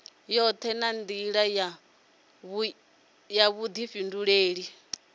yoṱhe nga nḓila ya vhuḓifhinduleli